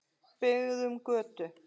Byggðum götu.